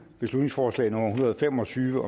beslutningsforslag nummer hundrede og fem og tyve